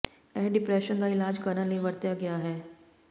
ਇਹ ਡਿਪਰੈਸ਼ਨ ਦਾ ਇਲਾਜ ਕਰਨ ਲਈ ਵਰਤਿਆ ਗਿਆ ਹੈ